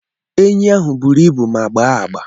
Enyi ahụ buru ibu ma gbaa agbaa.